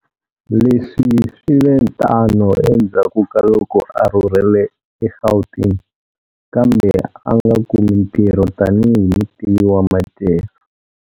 Leswi swi ve tano endzhaku kaloko a rhurhele eGauteng kambe a nga kumi ntirho tanihi mutivi wa madyelo.